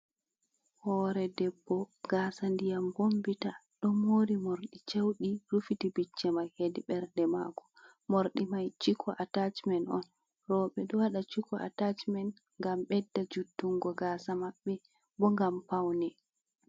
Hore debbo gasa ndiyam bombita ɗo mori morɗi caudi rufiti becce ma hedi bernde mako mordi mai chiko atajmen on roɓe ɗo waɗa chiko atajmen ngam bedda juttungo gasa maɓɓe bo ngam paune.